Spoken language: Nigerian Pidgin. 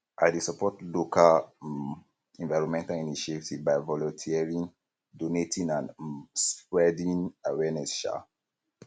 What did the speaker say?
i dey support local um environmental initiatives by volunteering donating and um spreading awareness um